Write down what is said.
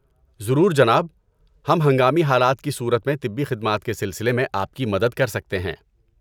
ضرور، جناب۔ ہم ہنگامی حالات کی صورت میں طبی خدمات کے سلسلے میں آپ کی مدد کر سکتے ہیں۔